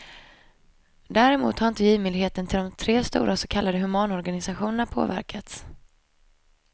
Däremot har inte givmildheten till de tre stora så kallade humanorganisationerna påverkats.